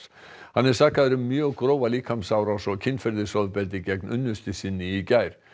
hann er sakaður um mjög grófa líkamsárás og kynferðisofbeldi gegn unnustu sinni í gær